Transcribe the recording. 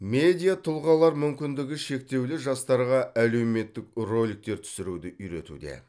медиа тұлғалар мүмкіндігі шектеулі жастарға әлеуметтік роликтер түсіруді үйретуде